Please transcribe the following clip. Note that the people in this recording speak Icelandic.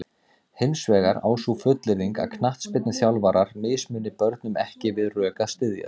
Hins vegar á sú fullyrðing að knattspyrnuþjálfarar mismuni börnum ekki við rök að styðjast.